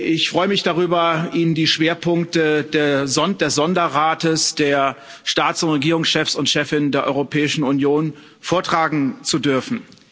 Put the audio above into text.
Ich freue mich darüber, Ihnen die Schwerpunkte des Sonderrates der Staats und Regierungschefs und chefinnen der Europäischen Union vortragen zu dürfen.